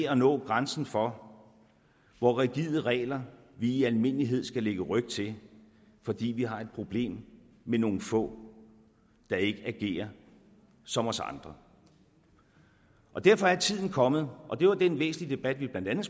at nå grænsen for hvor rigide regler vi i almindelighed skal lægge ryg til fordi vi har et problem med nogle få der ikke agerer som os andre derfor er tiden kommet og det var den væsentlige debat vi blandt andet